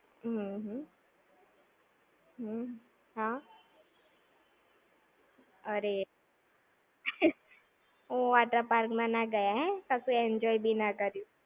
હમ્મ હમ. હમ્મ. હા. અરે. હું water park માં ના ગયા એમ? કશું enjoy બી ના કર્યું!